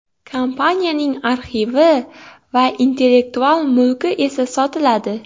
Kompaniyaning arxivi va intellektual mulki esa sotiladi.